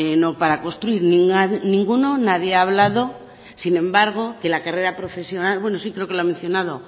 no para construir ninguno nadie ha hablado sin embargo de la carrera profesional bueno sí creo que lo ha mencionado